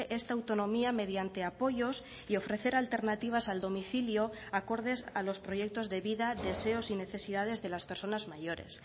esta autonomía mediante apoyos y ofrecer alternativas al domicilio acordes a los proyectos de vida deseos y necesidades de las personas mayores